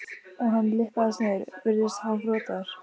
og hann lyppast niður, virðist hálfrotaður.